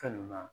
Fɛn nun na